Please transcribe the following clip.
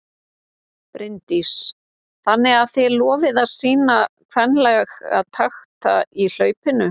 Bryndís: Þannig að þið lofið að sýna kvenlega takta í hlaupinu?